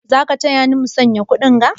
Za ka taya ni musanya kuɗinga?